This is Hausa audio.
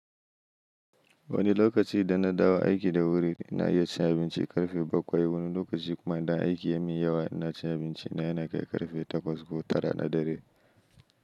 Wani lokaci idanna dawo aiki da wuri ina iya cin abinci ƙarfe bakwai. Wani lokaci kuma idan aiki yamin yawa inacin abinci na yanakai ƙarfe takwas ko tara na dare.